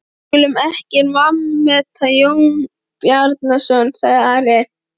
Við skulum ekki vanmeta Jón Bjarnason, sagði Ari.